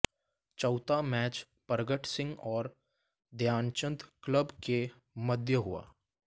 चौथा मैच परगट सिंह और ध्यानचंद क्लब के मध्य हुआ